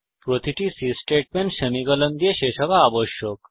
প্রতিটি C statement semicolon দিয়ে শেষ হওয়া আবশ্যক